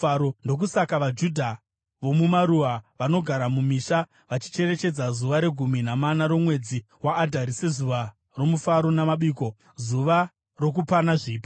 Ndokusaka vaJudha vomumaruwa, vanogara mumisha, vachicherechedza zuva regumi namana romwedzi waAdhari sezuva romufaro namabiko, zuva rokupana zvipo.